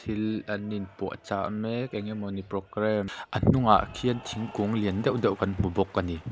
thil an inpuahchah mek eng emawni program a hnungah khian thingkung lian deuh deuh kan hmu bawk a ni.